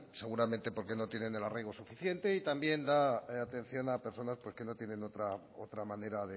seguramente porque no tienen el arraigo suficiente y también da atención a personas que no tienen otra manera